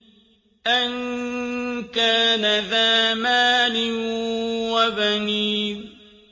أَن كَانَ ذَا مَالٍ وَبَنِينَ